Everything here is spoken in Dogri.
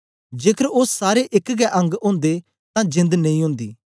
जेकर ओ सारे एक गै अंग ओदे तां जेंद नेई ओदी